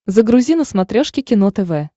загрузи на смотрешке кино тв